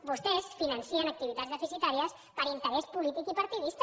vostès financen activitats deficitàries per interès polític i partidista